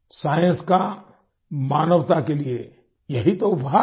science का मानवता के लिए यही तो उपहार है